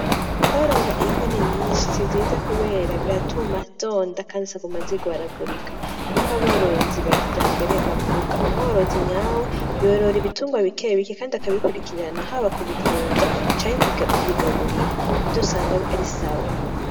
Kworora impene nyinshi si vyiza kubera biratuma zonda Kandi zikaguma zigwaragurika, niko aborozi ba kijambere bavuga. umworozi nyawe yorora ibitungwa bike bike Kandi akabikurikirana haba kubivuza canke kubigaburira nivyo usanga ari sawa .